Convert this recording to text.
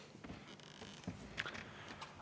Aitäh!